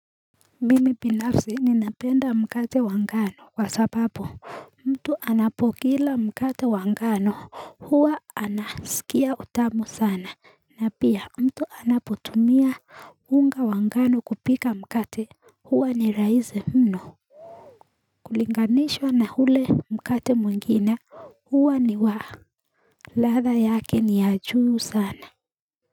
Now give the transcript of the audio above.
Mimi binafsi ninapenda mkate wangano kwasababu mtu anapogila mkate wangano, huwa anasikia utamu sana, na pia mtu anapotumia unga wa ngano kupika mkate huwa ni rahisimno. Kulinganishwa na ule mkate mwengine huwa ni wa ladha yake ni ya juu sana.